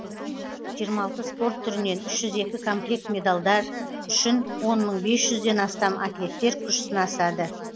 жиырма алты спорт түрінен үш жүз екі комплект медалдар үшін он мың бес жүзден астам атлеттер күш сынасады